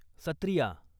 Sattriya